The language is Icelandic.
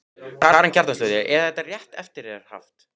Karen Kjartansdóttir: Er þetta rétt eftir þér haft?